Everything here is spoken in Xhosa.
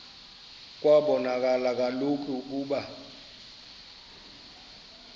kwabonakala kaloku ukuba